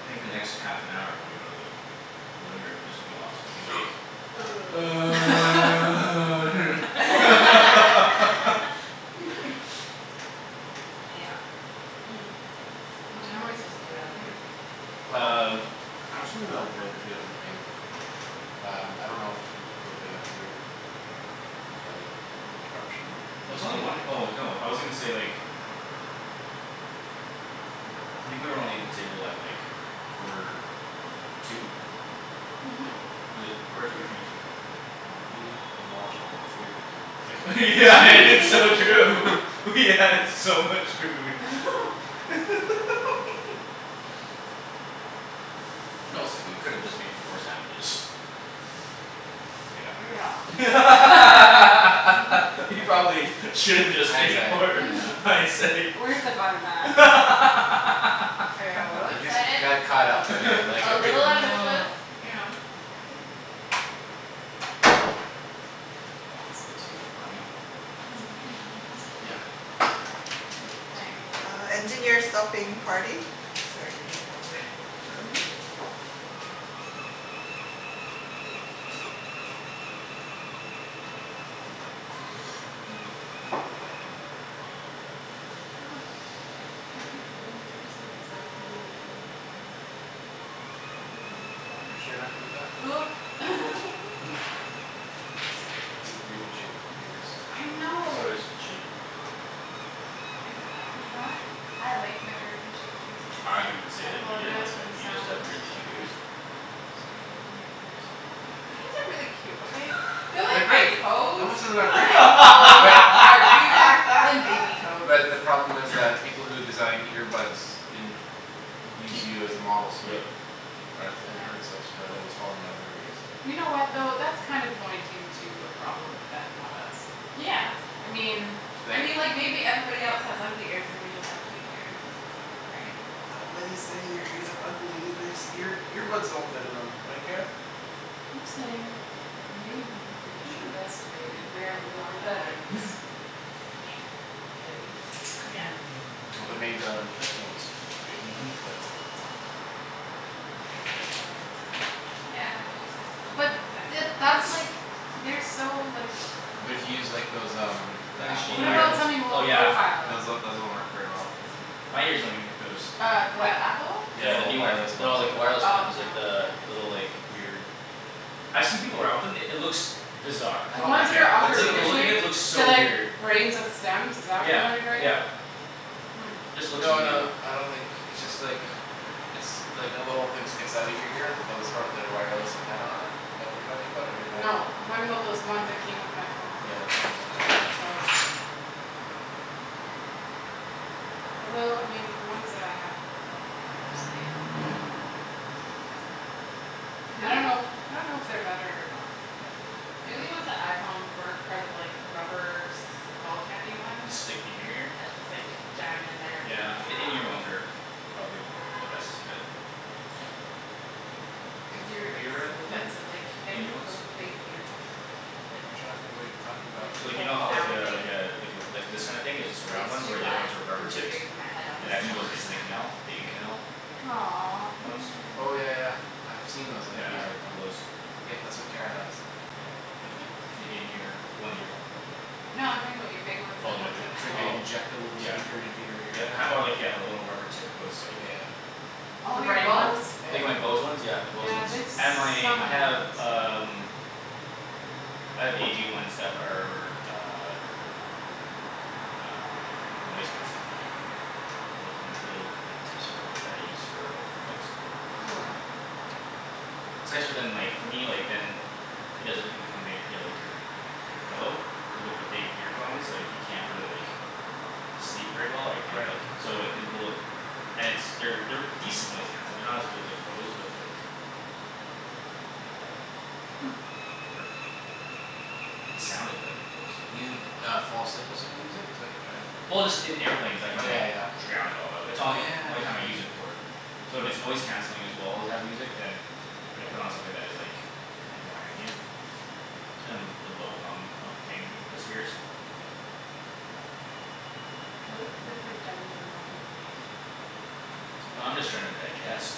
I think the next half an hour when we go to the living room is just gonna be us gonna be like Yeah What time are we supposed to do that at? Um Well I actually dunno if they'll give us a ping. Um I don't know if what they went through With the interruption In It's only one there. oh no I was gonna say like I think we were only at the table at like quarter to Mhm Was it quarter to or twenty to? Wow we demolished a lot of food in less than It's so true. We had so much food Realistically we could've just made four sandwiches. Yeah Yeah We Mhm probably should've just Hindsight made four yeah Mhm hindsight. Where's the fun in that? I got a little We just excited. got caught up in it like A everything little ambitious, you know. Awesome. Too funny. Can you me hand one o' Yeah. Thank you. my word. So does she. I didn't say that we didn't like them. You just have weirdly shaped ears. They are great. But the problem is like people who designed ear buds didn't Use Keep you as a model yep so headphones Mhm that But to use like those um Then Those she um uh oh yeah. those one worked very well cuz My ears don't even fit those. Yeah the new ones. No like the wireless ones like the little like weird I've see people around with them it looks Bizarre. Like the look of it looks so weird. Yeah yep. Just looks really uh And stick in your ear? Yeah the in ear ones are probably the best fit. Have you ever had them before? The in ear ones? So like you know how like uh like uh like this kinda thing is just a round one where the other ones are rubber tipped? And actually goes into the canal? The in canal? Ear ones? Yeah I have a couple o' those. Yeah. The in ear. The ones you were talking about that Oh my big ones oh Yeah yeah ki- or like yeah the rubber tip goes like Like my Bose ones yeah my Bose ones and my I have um I have A G ones that are uh Um noise canceling. Little little tips for work that I use for like airplanes. It's nicer than like for me like than It doesn't incumbent your like your Your pillow. Cuz with your big earphones like you can't really like Sleep very well or you can't like so if they little And it's they're they're decent noise canceling. They're not as good as like Bose but like They're not bad. They work. The sound is better than Bose. Well just in airplanes I can like drown it all out. It's all yo- only time I use it for. So if it's noise canceling as well as has music then I put on something that is like a bit more ambient. And the low hum of the plane disappears. Oh I'm just trying to digest.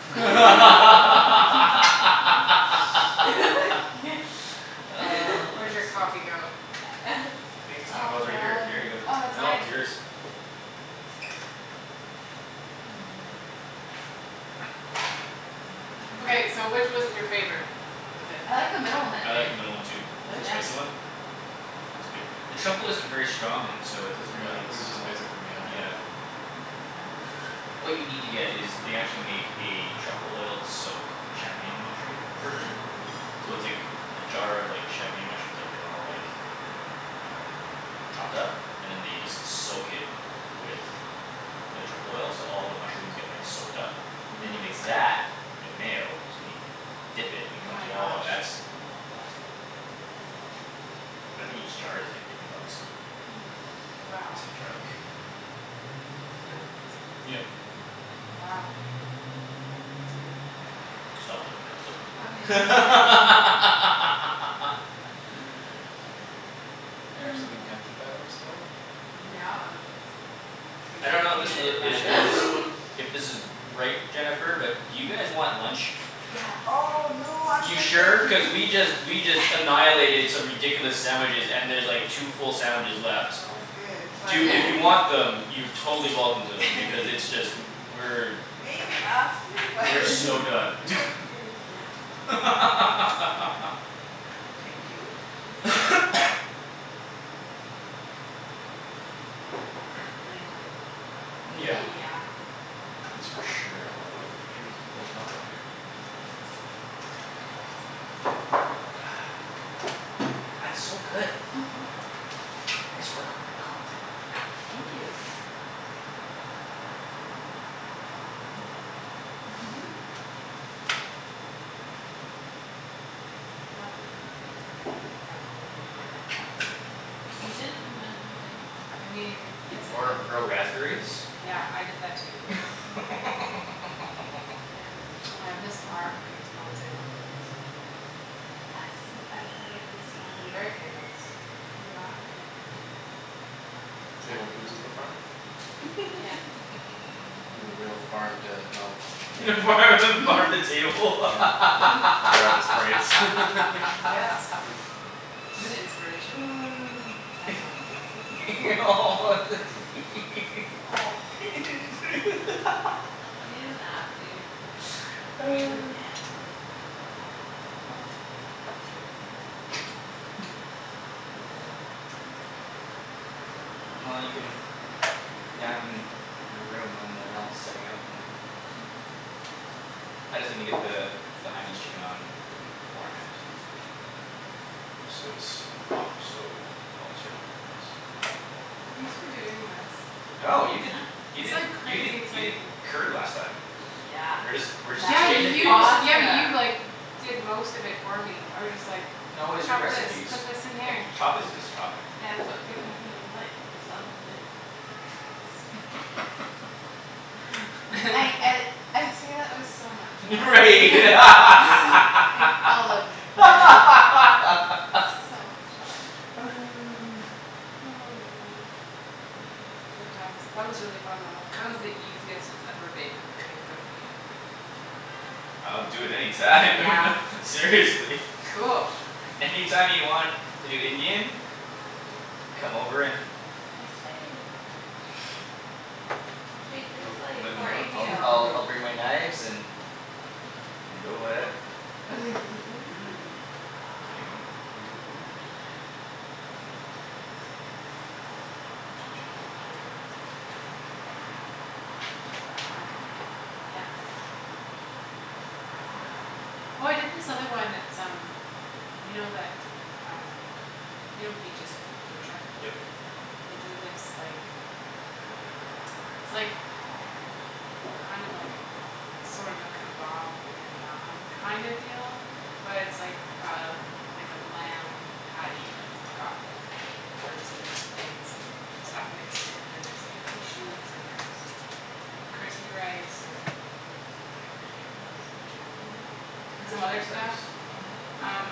I could sleep. I think it's I kno- oh it's right here here you go no it's yours. word I like the middle one too. The spicy one? It's good. The truffle isn't very strong and so it doesn't really come out. Yeah. What you need to get is they actually make a truffle oiled soak champagne mushroom version. So it's like a jar of champagne mushrooms that have been all like Um chopped up? And then they just soak it with The truffle oil so all the mushrooms get like soaked up And you mix that with mayo so when you Dip it, it comes oh that's that's good But I think each jar is like twenty bucks. It's like a jar like Yep Stop looking at them. I don't know if this is a it is If this is right, Jennifer, but do you guys want lunch? You sure? Cuz we just we just annihilated some ridiculous sandwiches and there's like two full sandwiches left. Do if you want them you're totally welcome to them because it's just we're We're so done YEah That's for sure. That's so good. Nice work on that cocktail. Or grow raspberries? Yeah farm the farm the table Well you can nap in a room when they're all setting up and I just needa get the The Hainanese chicken on like beforehand Just so it's off the stove while we start doing everything else. No you did you did you did you did curry last time. We're just we're just exchanging things. No it was your recipes. I can chopping is just chopping. Right word I'll do it any time Seriously. Any time you want to do Indian. Come over and I'll I'll I'll bring my knives and go ahead. Kidding me? Indian food? Yep Crispy rice wow that's fun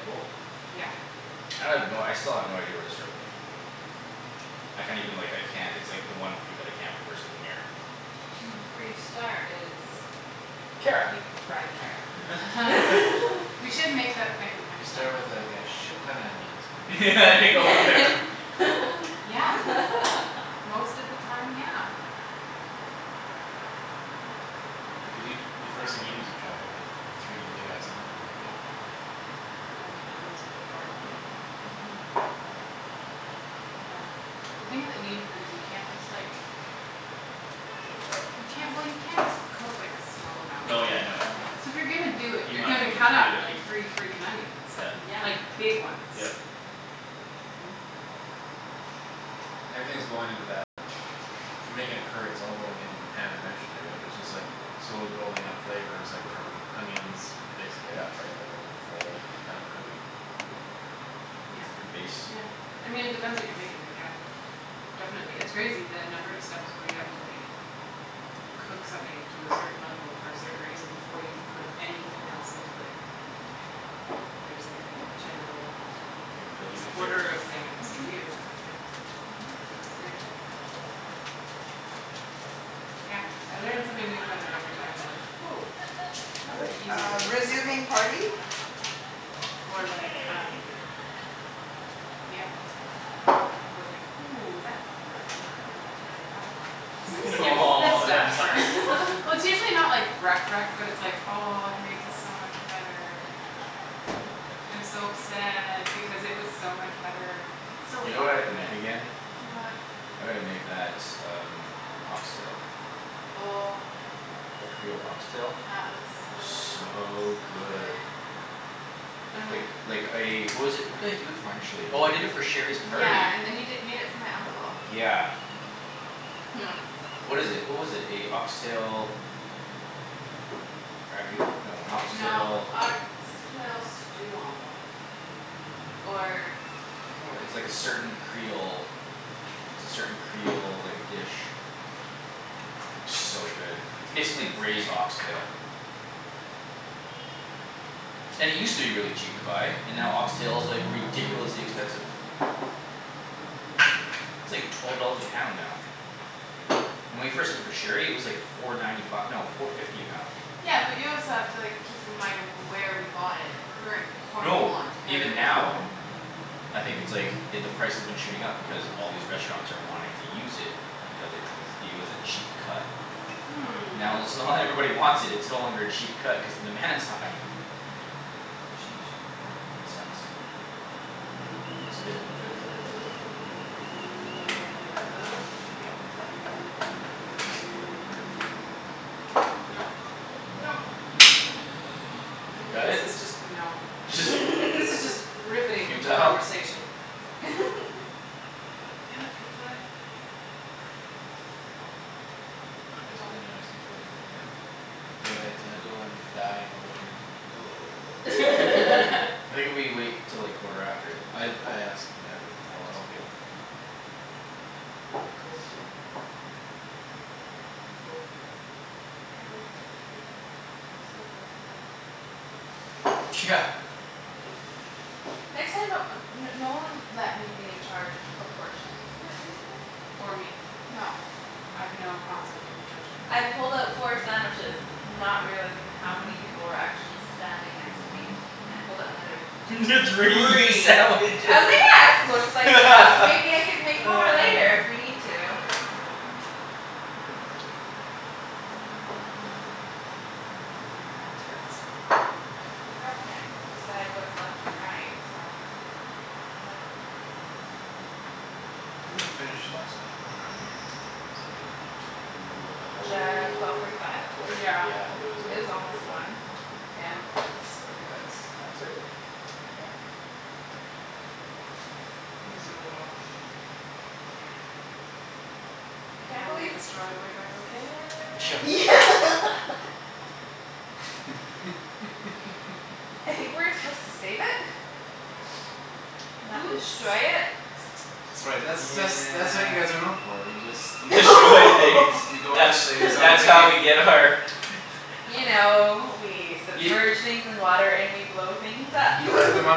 Cool I have no I still have no idea where to start with Indian food. I can't even like I can't it's like the one food that I can't reverse engineer. Kara. and go from there. Whip it up? No yeah no You might as well just do it you Yep. Yep. It's like your base. You're building the flavors. Or like um Yeah Or like, "Ooh that wrecked it I won't be doing that again." It's like skips this Oh that stuff sucks. for Well it's usually not like wrecked wrecked but it's like, "Oh I've made this so much better" "I'm so upset because it was so much better." It's still You know what I have fine to but make again? What? I gotta make that um ox tail. Oh That creole ox tail? That was so So so good. good Oh Like yeah like I what was it what did i do it for initially? Oh I did it for Sherry's party. Yeah and then you di- made it for my uncle Yeah. What is it? What was it? A ox tail Ragout? No a ox tail No ox tail stew almost Or I can't It's like a certain creole it's a certain creole like dish. So good. It's It basically was good. braised ox tail. And it used to be really cheap to buy and now ox tail is like ridiculously expensive. It's like twelve dollars a pound now. When we first did it for Sherry it was like four ninety fi- no four fifty a pound. Yeah but you also have to like keep in mind where we bought it. We were in Cornwall, No, even Ontario. now I think it's like i- the price has been shooting up because all these restaurants are wanting to use it Because it was it was a cheap cut. Hmm Now let's now that everybody wants it it's no longer a cheap cut cuz the demand's high. Sheesh It sucks. Yep. It's Left good. in fruit fly. No Nope nope Got This it? is just no this is just riveting Futile? conversation. Damn it fruit fly. Oh well. Oh well. Basically now I just need to wait for it to Go ahead to go and die in the living room I think if we wait 'til like quarter after I think we're I good. I asked them that to tell us Okay. when when we can go Cool Cool cool Can't believe how much food we made. Still blows my mind. Yeah Next time don't uh no one let me be in charge of proportions for anything. Or me No I have no concept of judging I that. pulled out four sandwiches Not realizing how many people were actually standing next to me. Then I pulled out another Three three. I sandwiches. was like yeah this looks like enough maybe I could make more later if we need to. No. Oh my word. Fantastic. The girl can't decide what's left and right so let her count. When did we finish last night around here? It's like Could J- be twelve forty five? Twelve twelve Yeah yeah it was It like was twelve forty almost five. one, yeah. Brutal. Nope Sorry guys No that's all right. Uh yeah This is really awesome. Yeah I We can't totally believe destroyed Wave Echo Yeah Cave. like I think we were supposed to save it Not Oops destroy it. That's right that's that's that's what you guys are known Yeah for, you just You Destroy things. go you go into That's space and that's all how we you need get our You know we Y- submerge things in water and we blow things up You light them on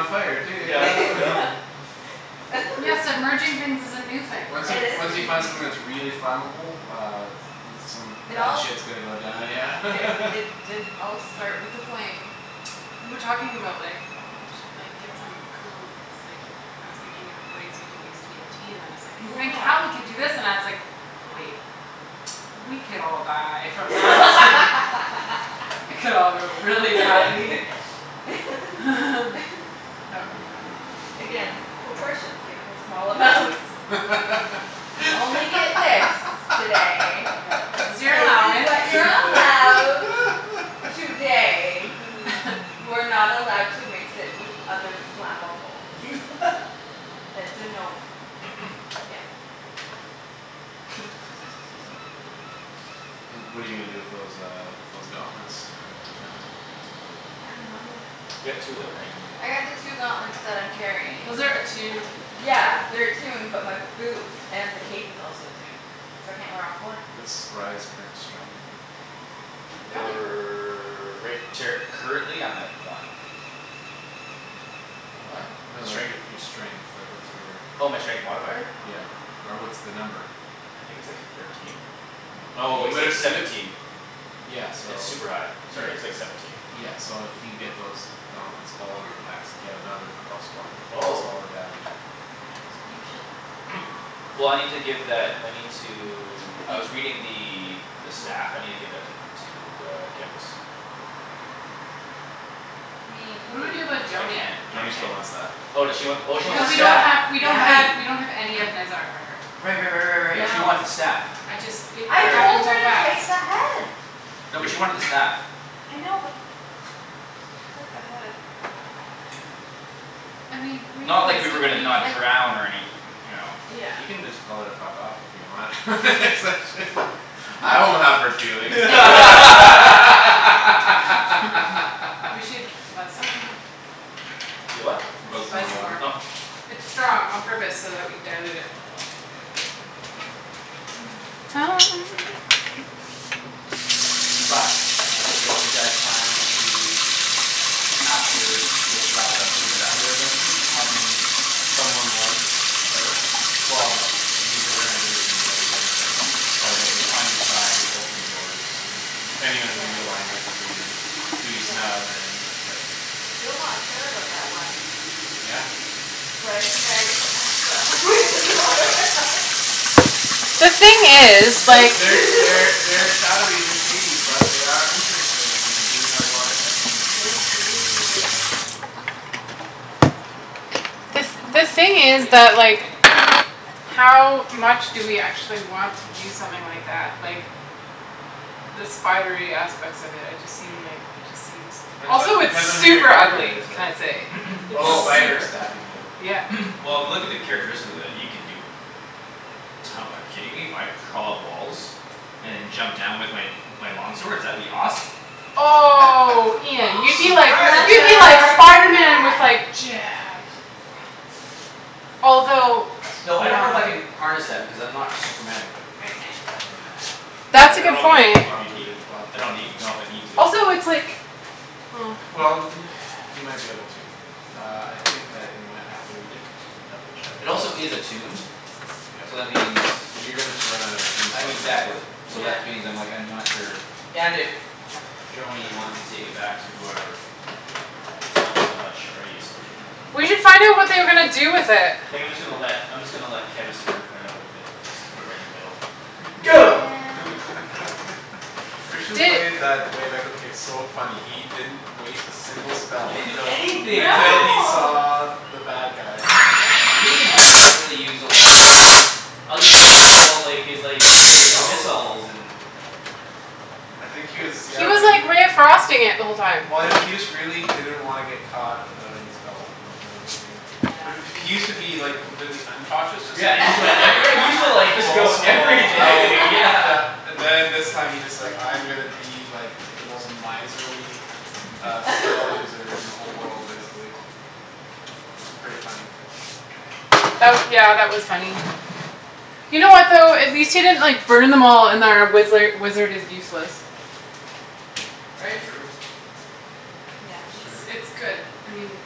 fire too Yep yep. yeah Oh my word. Yeah submerging things is a new thing for Once us. you It is a once you new find something that's thing. really flammable uh Dude some It bad all shit's gonna go down yeah It it did all start with a flame. We were talking about like, "Oh we should like get some cool s- like" I was thinking of ways we can use TNT and then it's like "Then Yeah. Cali could do this" and I was like, "Wait" "We could all die from that" "It could all go really badly" That would be funny. Again, proportions good for small amounts. You only get this today. Yeah. This is your This is allowance. what you're allowed today. You are not allowed to mix it with other flammables. That's a no no. Again. Oh my word. Well what're you gonna do with those um those gauntlets you found? I dunno yet. You got two of them right? I got the two gauntlets that I'm carrying. Those are attuned right? Yeah they're attuned but my boots and the cape is also attuned so I can't wear all four. What's Rye's current strength? They're only We're right ter- currently I'm at one. What? No like Strength? your your strength, like what's your Oh my strength modifier? Yeah or what's the number? I think it's like thirteen? No Oh you it's like would've you seventeen. di- Yeah so It's all super high. right Sorry it's like seventeen. Yeah so if you get those Gauntlets, all of your and get another plus one cuz Oh all the damage is You should take 'em Well I need to give that I need to I He was reading the the Oh stuff. I need to give that to to uh Kevus. I mean What it'd do we do about be Cuz I Joany? can't I Joany still can't wants that Oh does she want She wants the oh she the wants Cuz the we don't staff. have staff we don't yeah have Right. we don't have any of Nezzar for her. Right right right right right she Yep. wants the No staff. I just it I it All right. told happened her so to fast. take the head. You No, but she did. wanted the staff. I know but she took the head I mean Not like we were gonna realistically. not And drown or anyth- you know. Yeah You can just tell her to fuck off if you want Cuz I shouldn't've I won't have hurt feelings We should buzz some more. Y- what? I Buzz should some buzz more some more. Oh water It's strong on purpose so that we dilute it. But I will say if you guys plan to After this wrapped up move into other adventures having Someone like Her? Well th- the these organizations you guys are starting up Oh On you right. to on your side will open doors In the future depending Yeah on who you align with and who you Who you Yeah snub and like still not sure about that one Yeah But I think I already put my he- foot halfway in the door The thing Yeah. is like Oops There's They're shadowy they're shady but they are Interesting and they do have a lot of connections so They do I The th- mean the thing is pretty that awesome like cape. How much do we actually want to use something like that? Like The spidery aspects of it I just seem like it just seems Depends on Also it's depends on who your super character ugly is can right? i say? It's Oh the Well spider super. staff you mean Yeah Well if you look at the characteristics of it you can do Like to- like kidding me? If I crawl up walls? And then jump down with my my long swords? That would be awesome. Oh Imagine Ian you'd be if like Surprise I you'd be like could attack. do Spiderman with that like "Jab" I just like crawl up Although and no one else Thought I don't know if wow I can harness that because I'm not super magical. I can't I know that I That's a I don't good know if that We'll point. if have you to need read we'll have to I don't read need know if I from the need to but Also it's like oh Well n- you might be able to Uh I think that in my I might have to read it just to double check uh It also is attuned Yep So that means You're gonna sur- run out of a I mean tombstock pretty exactly clue so that Yeah which means like I'm not sure and if Joany wants to take it back to whoever She's helped us so much already so she might as well We should find out what they were gonna do with it. Think I'm just gonna let I'm just gonna let Kevus and Herb fight out with it. Just put it in the middle And Go Christian Di- played that Wave Echo case so funny. He didn't Waste a single He spell didn't do until anything that Until he day. No saw the bad guy. But even then he didn't really use a lot of like I was expecting him to pull out like his like his Missiles missiles and I think he was yeah He was really like ray of frosting it the whole time. Well I know he just really didn't wanna get caught without any spells I think he was being Uh yeah He used to be like complete uncautious just Yeah like and he like I re- yeah he used to just like go Balls to the wall everything I'll yeah yeah And then this time he's just like I'm gonna be like The most miserly uh spell user in the whole world basically. Which is pretty funny. That w- yeah that was funny. You know what though? At least he didn't like burn them all and then wizzler wizard is useless. Right? True. Yeah That's It's true. it's good. I mean